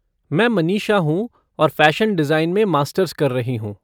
मैं मनीषा हूँ और फ़ैशन डिज़ाइन में मास्टर्स कर रही हूँ।